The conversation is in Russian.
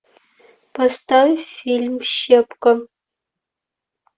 поставь фильм щепка